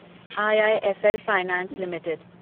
IIFL finance limited